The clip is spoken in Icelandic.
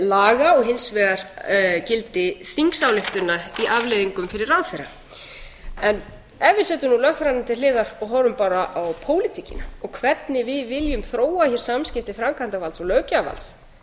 laga og hins vegar gildi þingsályktana í afleiðingum fyrir ráðherra ef við setjum nú lögfræðina til hliðar og horfum bara á pólitíkina og hvernig við viljum þróa hér samskipti framkvæmdarvalds og löggjafarvalds lögfræðina